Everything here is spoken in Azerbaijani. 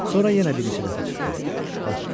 Sonra yenə bir neçə dəfə çıxdı, batdı.